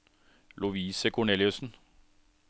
Lovise Korneliussen